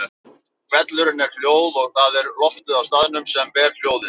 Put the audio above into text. Hvellurinn er hljóð og það er loftið á staðnum sem ber hljóð.